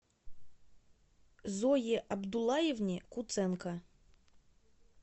зое абдуллаевне куценко